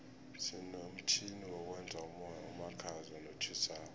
sinomtjhini wokwenza umoya omakhaza notjhisako